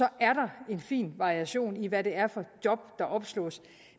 er der en fin variation i hvad det er for job der opslås